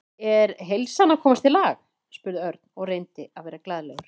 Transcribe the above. Er heilsan að komast í lag? spurði Örn og reyndi að vera glaðlegur.